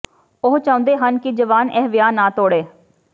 ਉਹ ਚਾਹੁੰਦੇ ਹਨ ਕਿ ਜਵਾਨ ਇਹ ਵਿਆਹ ਨਾ ਤੋੜੇ